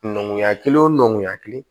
Nɔngɔnya kelen o nɔni